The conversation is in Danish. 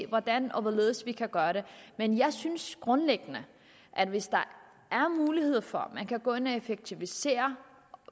hvordan og hvorledes vi kan gøre det men jeg synes grundlæggende at hvis der er mulighed for at man kan gå ind og effektivisere